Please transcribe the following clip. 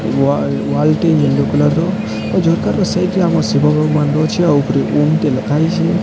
Wall wall ଟି ଗେଣ୍ଡୁ colour ର ଆଉ ଝରକା ତ ସେଇଟି ଆମ ଶିବଙ୍କର ଅଛି ତା ଉପୁରେ ଓମ୍ ଟିଏ ଲେଖା ହେଇଚି।